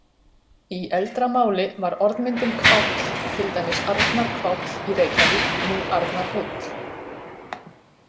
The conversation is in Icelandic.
Í eldra máli var orðmyndin hváll, til dæmis Arnarhváll í Reykjavík, nú Arnarhóll.